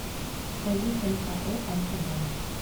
поехали ао альфа банк